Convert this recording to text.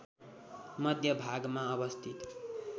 मध्य भागमा अवस्थित